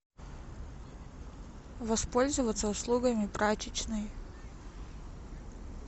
воспользоваться услугами прачечной